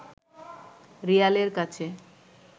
রিয়ালের কাছে